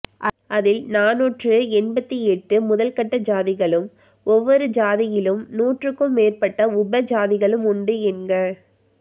அதில் நாநூற்று எண்பத்திஎட்டு முதல்கட்ட சாதிகளும் ஒவ்வொரு சாதியிலும் நூற்றுக்கும் மேற்பட்ட உபசாதிகளும் உண்டு என்க